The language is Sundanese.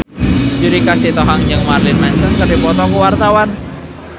Judika Sitohang jeung Marilyn Manson keur dipoto ku wartawan